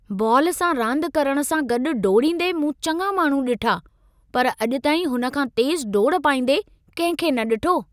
Ball सां रांदि करण सां गॾु डोड़ींदे मूं चङा माण्हू ॾिठा पर अॼु ताईं हुन खां तेज़ु डोड़ पाईंदे कंहिंखे न ॾिठो!